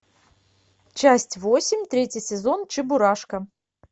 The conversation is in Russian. часть восемь третий сезон чебурашка